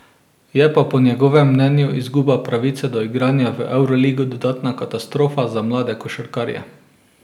Je pa po njegovem mnenju izguba pravice do igranja v evroligi dodatna katastrofa za mlade košarkarje.